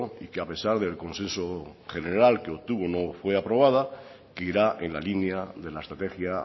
y que a pesar del consenso general que obtuvo no fue aprobada que irá en la línea de la estrategia